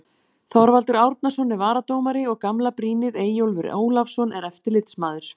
Þorvaldur Árnason er varadómari og gamla brýnið Eyjólfur Ólafsson er eftirlitsmaður.